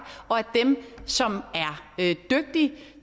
og at dem som er dygtige